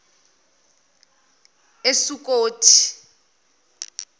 esukothi